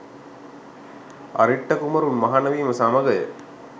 අරිට්ඨ කුමරුන් මහණ වීම සමගය.